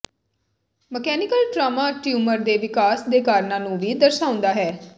mechanical trauma tumour ਦੇ ਵਿਕਾਸ ਦੇ ਕਾਰਨਾਂ ਨੂੰ ਵੀ ਦਰਸਾਉਂਦਾ ਹੈ